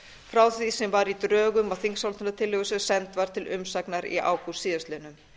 frá því sem var í drögum á þingsályktunartillögu sem send var til umsagnar í ágúst síðastliðinn